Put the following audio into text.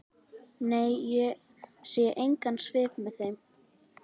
Nei, ég sé engan svip með þeim.